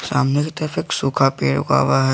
सामने की तरफ एक सूखा पेड़ उगा हुआ है।